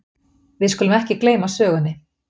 Við skulum ekki gleyma sögunni!